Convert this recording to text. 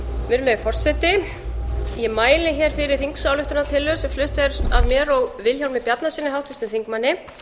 virðulegi forseti ég mæli hér fyrir þingsályktunartillögu sem flutt er af mér og vilhjálmi bjarnasyni háttvirtum þingmanni